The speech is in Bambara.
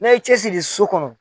N'a ye cɛsiri so kɔnɔ